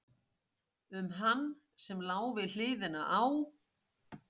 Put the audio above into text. Um hann sem lá við hliðina á